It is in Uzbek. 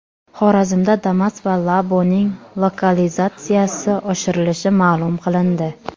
Xorazmda Damas va Labo‘ning lokalizatsiyasi oshirilishi ma’lum qilindi .